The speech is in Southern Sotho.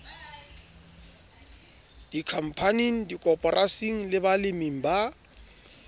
dikhampaning dikoporasing le baleming ba